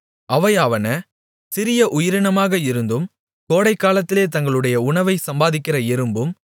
அவையாவன சிறிய உயிரினமாக இருந்தும் கோடைக்காலத்திலே தங்களுடைய உணவைச் சம்பாதிக்கிற எறும்பும்